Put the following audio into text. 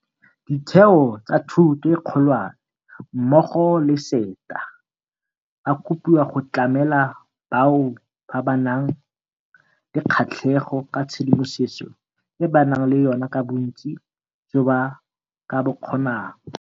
Ditheo tsa thuto e kgolwane mmogo le SETA ba kopiwa go tlamela bao ba nang le kgatlhego ka tshedimosetso e ba nang le yona ka bontsi jo ba ka bo kgonang.